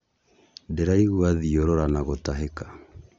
Ndĩraigwa thiũrũra na gũtahĩka